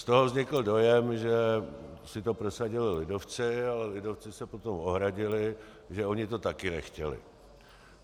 Z toho vznikl dojem, že si to prosadili lidovci, ale lidovci se potom ohradili, že oni to také nechtěli.